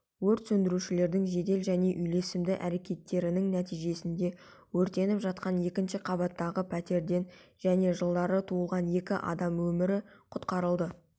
өрт сөндірушілердің жедел және үйлесімді әрекеттерінің нәтижесінде өртеніп жатқан екінші қабаттағы пәтерден және жылдары туылған екі адам өмірі құтқарылды